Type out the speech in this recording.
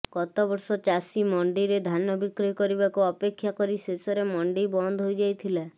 ଗତବର୍ଷ ଚାଷୀ ମଣ୍ଡିରେ ଧାନ ବିକ୍ରି କରିବାକୁ ଅପେକ୍ଷା କରି ଶେଷରେ ମଣ୍ଡି ବନ୍ଦହୋଇ ଯାଇଥିଲା